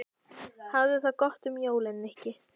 Hafðu það gott um jólin, Nikki